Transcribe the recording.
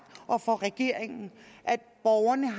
og for regeringen at borgerne